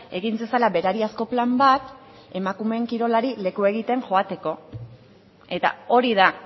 egin zezala berariazko plan bat emakumeen kirolari lekua egiten joateko eta hori da